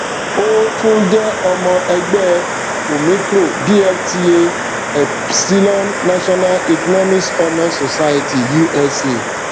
ó tún jẹ ọmọ ẹgbẹ omicro dlta epsilon national economics honour society usa